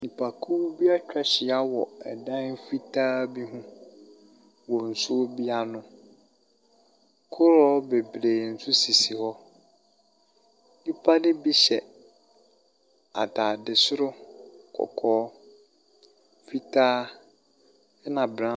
Nnipakuw bi etwa ahyia wɔ ɛdan fitaa bi ho wɔ nsuo bi ano. Koroɔ bebree nso sisi hɔ. Nnipa no bi hyɛ ataade soro kɔkɔɔ, fitaa ɛna braon.